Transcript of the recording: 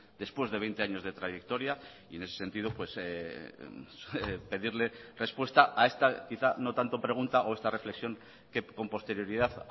después de veinte años de trayectoria y en ese sentido pedirle respuesta a esta quizá no tanto pregunta o esta reflexión que con posterioridad